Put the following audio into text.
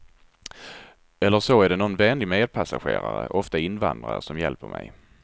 Eller så är det någon vänlig medpassagerare, ofta invandrare, som hjälper mig.